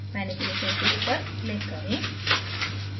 manipulation tool पर click करें